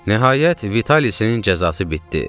Nəhayət, Vitalisin cəzası bitdi.